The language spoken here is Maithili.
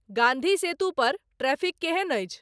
गांधीसेतू पर ट्रैफिक केहन अछि